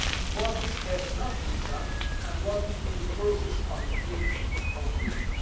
what has not been done and what is in the process of being completed.